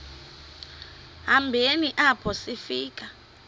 hambeni apho sifika